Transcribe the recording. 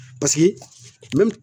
Paseke